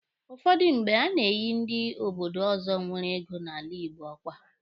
Ụfọdụ mgbe, a na-enyi ndị obodo ọzọ nwere ego n'ala Igbo ọkwa.